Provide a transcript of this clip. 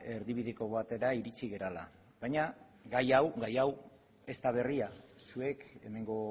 erdibideko batera iritsi garela baina gai hau gai hau ez da berria zuek hemengo